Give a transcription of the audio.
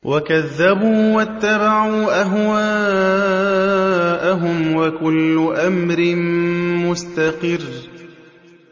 وَكَذَّبُوا وَاتَّبَعُوا أَهْوَاءَهُمْ ۚ وَكُلُّ أَمْرٍ مُّسْتَقِرٌّ